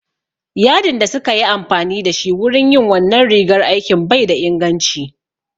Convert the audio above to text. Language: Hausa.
Yadin da suka yi amfani da shi wurin yin wannan rigar aikin bai da inganci